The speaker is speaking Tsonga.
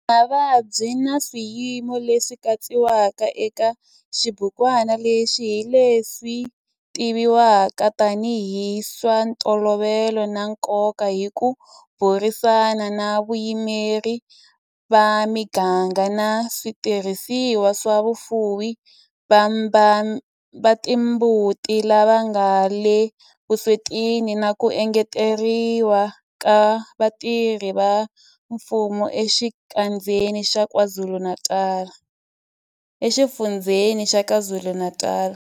Mavabyi na swiyimo leswi katsiwaka eka xibukwana lexi hi leswi tivivwaka tanihi hi swa ntolovelo na nkoka hi ku burisana na vayimeri va miganga na switirhisiwa swa vafuwi va timbuti lava nga le vuswetini na ku engeteriwa ka vatirhi va mfumo eXifundzheni xa KwaZulu-Natal.